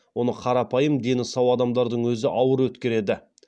оны қарапайым дені сау адамдардың өзі ауыр өткереді